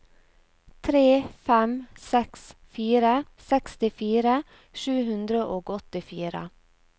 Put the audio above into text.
tre fem seks fire sekstifire sju hundre og åttifire